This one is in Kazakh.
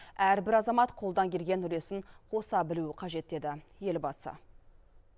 әрбір азамат қолдан келген үлесін қоса білуі қажет деді елбасы